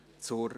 Geschäft